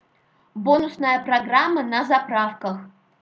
бонусная программа на заправках